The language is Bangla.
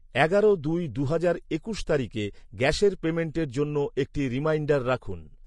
এগারো দুই দু'হাজার একুশ তারিখে গ্যাসের পেমেন্টের জন্য একটি রিমাইন্ডার রাখুন।